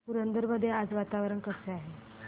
पुरंदर मध्ये आज वातावरण कसे आहे